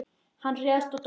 Hann réðst á Dóra.